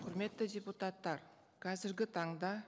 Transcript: құрметті депутаттар қазіргі таңда